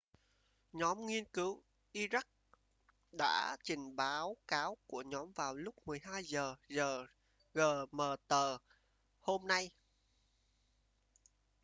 nhóm nghiên cứu iraq đã trình báo cáo của nhóm vào lúc 12 giờ giờ gmt hôm nay